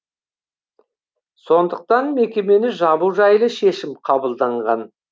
сондықтан мекемені жабу жайлы шешім қабылданған